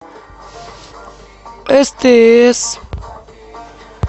стс